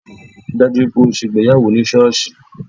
Rí i dájú o ṣe ìgbéyàwó ní sọ́ọ̀ṣì!